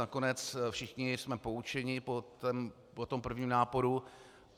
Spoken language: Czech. Nakonec všichni jsme poučeni po tom prvním náporu.